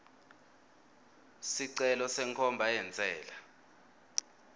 sicelo senkhomba yentsela